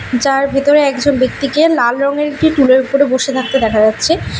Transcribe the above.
যার ভেতরে একজন ব্যক্তিকে লাল রঙের একটি টুলের উপরে বসে থাকতে দেখা যাচ্ছে।